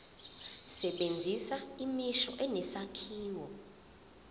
sebenzisa imisho enesakhiwo